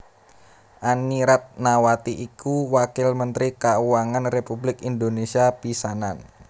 Anny Ratnawati iku Wakil Mentri Kauangan Republik Indonésia pisanan